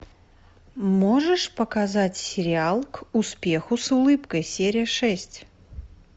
можешь показать сериал к успеху с улыбкой серия шесть